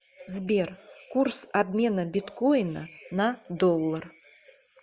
сбер курс обмена биткоина на доллар